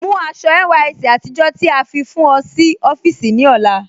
Mú àṣọ̀ NYSC àtìjọ́ tí a fi fún ọ̀ sí ọ̀fíìsí ní ọlá